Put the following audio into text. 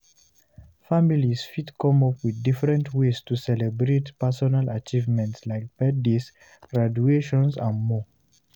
Families fit come up with different ways to celebrate personal achievement like birthdays graduations and more